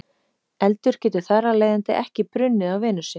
Eldur getur þar af leiðandi ekki brunnið á Venusi.